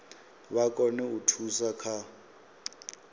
vha kone u thusa kha